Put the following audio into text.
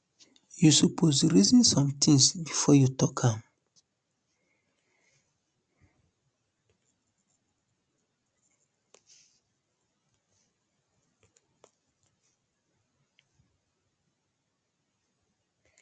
you suppose reason some things bifor you tok am